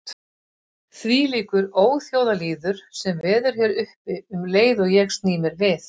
Þvílíkur óþjóðalýður sem veður hér uppi um leið og ég sný mér við.